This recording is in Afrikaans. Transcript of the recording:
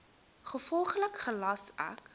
gevolglik gelas ek